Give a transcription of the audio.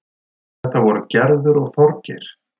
Þetta voru Gerður og Þorgeir.